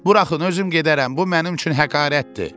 Buraxın, özüm gedərəm, bu mənim üçün həqarətdir!